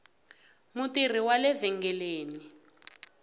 mutirhi wale vhengeleni